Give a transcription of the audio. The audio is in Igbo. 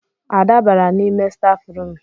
Ada bara n'ime stafrum